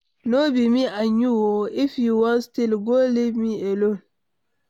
No be me and you oo. If you wan steal go, leave me alone.